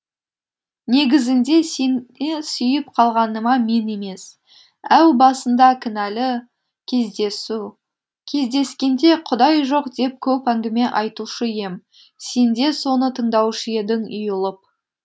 негізінде сен сүйіп қалғаныма мен емес әу басында кінәлі кездесу кездескенде құдай жоқ деп көп әңгіме айтушы ем сен де соны тыңдаушы едің ұйылып